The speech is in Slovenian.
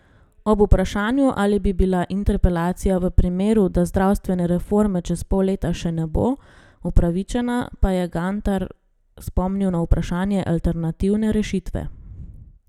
Ob vprašanju, ali bi bila interpelacija v primeru, da zdravstvene reforme čez pol leta še ne bo, upravičena, pa je Gantar spomnil na vprašanje alternativne rešitve.